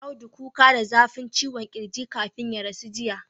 Audu kuka da zafin ciwon kirji kafin ya rasu jiya